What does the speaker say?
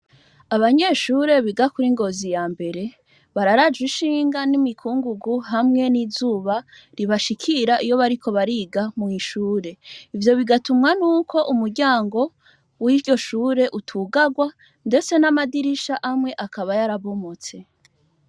Abanyeshure biga kuri Ngozi ya mbere, bararajwe ishinga n'imikungugu hamwe n'izuba ribashikira iyo bariko bariga mw'ishure. Ivyo bigatumwa nuko umuryango w'iryo shure utugarwa ndetse n'amadirisha amwe akaba yarabomotse.